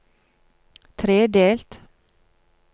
tredelt